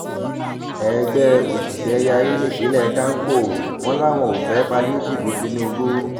ẹgbẹ́ òṣìṣẹ́ yarí nípínlẹ̀ kánkó wọn làwọn ò fẹ́ páìlétììfù tinubu